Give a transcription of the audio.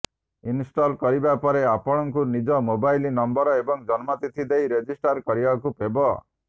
install କରିବା ପରେ ଆପଣଙ୍କୁ ନିଜ ମୋବାଇଲ ନମ୍ବର ଏବଂ ଜନ୍ମତିଥି ଦେଇ ରେଜିଷ୍ଟର କରିବାକୁ ହେବ